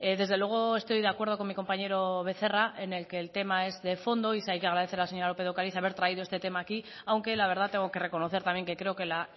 desde luego estoy de acuerdo con mi compañero becerra en el que el tema es de fondo y sí hay que agradecer a la señora lópez de ocariz haber traído este tema aquí aunque la verdad tengo que reconocer también que creo que la